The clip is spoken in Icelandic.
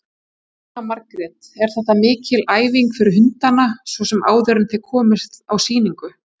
Jóhanna Margrét: Er þetta mikil æfing fyrir hundana svona áður en þið komið á sýningu?